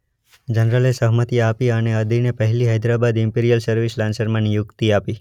જનરલે સહમતી આપી અને અદીને પહેલી હૈદરાબાદ ઈમ્પિરીયલ સર્વિસ લાન્સરમાં નિયુક્તિ આપી.